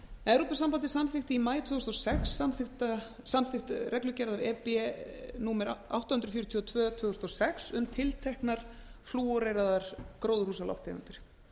evrópusambandið samþykkti í maí tvö þúsund og sex samþykkt reglugerð númer átta hundruð fjörutíu og tvö tvö þúsund og sex um tilteknar flúoreraðar gróðurhúsalofttegundir